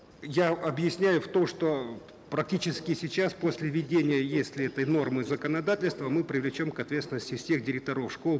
я объясняю то что практически сейчас после введения если этой нормы законодательства мы привлечем к ответственности всех директоров школ